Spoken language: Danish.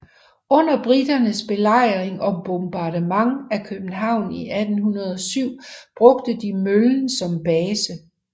Under briternes belejring og bombardement af København i 1807 brugte de møllen som base